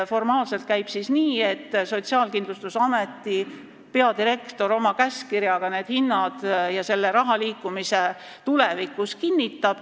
Formaalselt käib asi nii, et Sotsiaalkindlustusameti peadirektor kinnitab tulevikus oma käskkirjaga need hinnad ja selle raha liikumise.